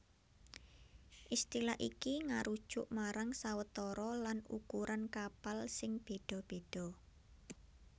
Istilah iki ngarujuk marang sawetara lan ukuran kapal sing béda béda